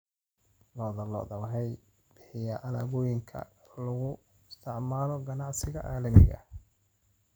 Lo'da lo'da ayaa bixiya alaabooyinka loo isticmaalo ganacsiga caalamiga ah.